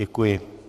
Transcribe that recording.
Děkuji.